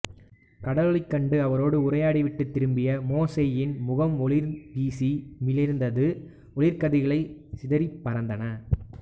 கடவுளைக் கண்டு அவரோடு உரையாடிவிட்டுத் திரும்பிய மோசேயின் முகம் ஒளிவீசி மிளிர்ந்தது ஒளிக்கதிர்கள் சிதறிப் பரந்தன